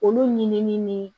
Olu ɲinini ni